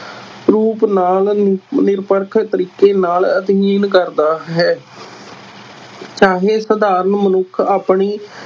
ਰੂਪ ਨਾਲ ਨਿਰਪੱਖ ਤਰੀਕੇ ਨਾਲ ਅਧਿਐਨ ਕਰਦਾ ਹੈ ਚਾਹੇ ਸਾਧਾਰਨ ਮਨੁੱਖ ਆਪਣੀ